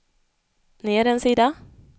ner en sida